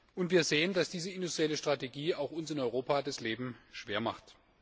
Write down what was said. Und wir sehen, dass diese industrielle Strategie auch uns in Europa das Leben schwer macht.